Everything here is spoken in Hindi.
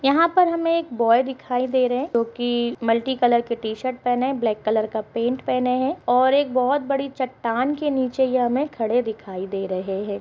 यहाँ पर हमें एक बॉय दिखाई दे रहे है ओकि मल्टी कलर की टी-शर्ट पहने है ब्लैक कलर का पेंट पहने है और एक बहुत बड़ी चट्टान के नीचे यह हमें खड़े दिखाई दे रहे है।